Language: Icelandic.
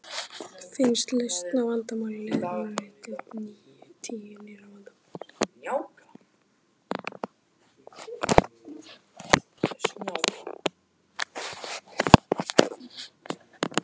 Finnist lausn á vandamáli leiðir hún til tíu nýrra vandamála.